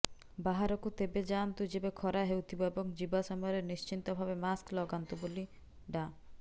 ବାହାରକୁ ତେବେ ଯାଆନ୍ତୁ ଯେବେ ଖରା ହେଉଥିବ ଏବଂ ଯିବା ସମୟରେ ନିଶ୍ଚିତ ଭାବେ ମାସ୍କ ଲଗାନ୍ତୁ ବୋଲି ଡା